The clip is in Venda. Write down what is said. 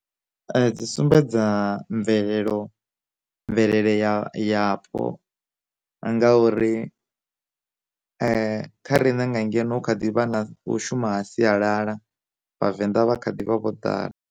Dzi sumbedza mvelelo mvelele ya yapo, ngauri, kha riṋe nga ngeno kha ḓi vha na u shuma sialala vhavenḓa vha kha ḓivha vho ḓala.